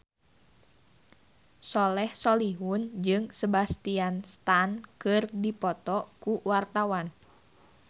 Soleh Solihun jeung Sebastian Stan keur dipoto ku wartawan